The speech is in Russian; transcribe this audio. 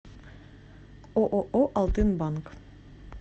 ооо алтынбанк